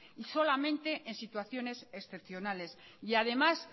y solamente en situaciones excepcionales y además